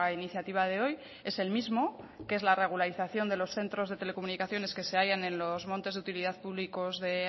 iniciativa de hoy es el mismo que es la regularización de los centros de telecomunicaciones que se hayan en los montes de utilidad públicos de